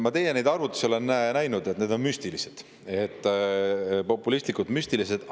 Ma neid teie arvutusi olen näinud, need on müstilised, populistlikud ja müstilised.